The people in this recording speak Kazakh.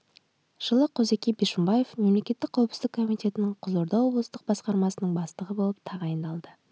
жылы қозыке бишімбаев мемлекеттік қауіпсіздік комитетінің қызылорда облыстық басқармасының бастығы болып тағайындалды